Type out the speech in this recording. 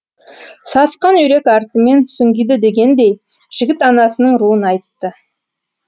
сасқан үйрек артымен сүңгиді дегендей жігіт анасының руын айтты